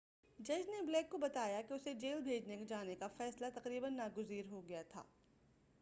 جج نے بلیک کو بتایا کہ اسے جیل بھیجے جانے کا فیصلہ تقریباً ناگزیر ہو گیا تھا